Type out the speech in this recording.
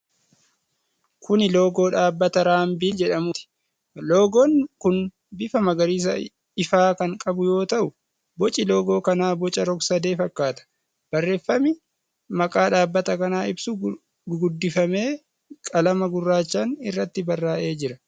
Kuni loogoo dhaabbata Raambil jedhuuti. Loogoon kun bifa magariisa ifaa kan qabu yoo ta'u boci loogoo kanaa boca rog-sadee fakkaata. Barreeffami maqaa dhaabbata kanaa ibsuu gurguddifamee qalama gurraachaan irratti barraa'ee jira.